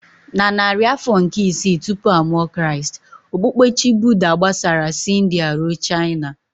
Na narị afọ nke isii tupu a mụọ Kraịst, okpukpe Chi Buddha gbasara si India ruo China.